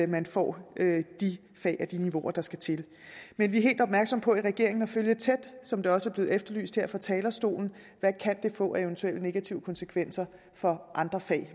man får de fag og de niveauer der skal til men vi er helt opmærksomme på i regeringen at følge tæt som det også er blevet efterlyst her fra talerstolen hvad det kan få af eventuelle negative konsekvenser for andre fag